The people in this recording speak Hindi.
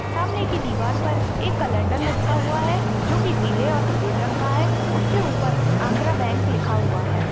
सामने की दीवार पर एक केलिन्डर लटका हुआ हैं जो की पिले और सफ़ेद रंग का हैं उसके ऊपर आंध्रा बैंक लिखा हुआ हैं।